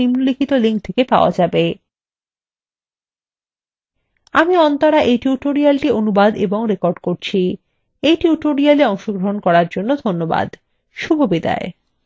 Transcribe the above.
আমি অন্তরা এই tutorialটি অনুবাদ এবং রেকর্ড করেছি এই tutorialএ অংশগ্রহন করার জন্য ধন্যবাদ শুভবিদায়